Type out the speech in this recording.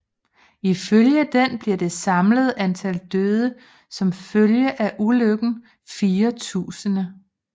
Ifølge den bliver det samlede antal døde som følge af ulykken 4000